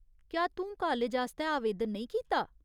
क्या तूं कालज आस्तै आवेदन नेईं कीता ?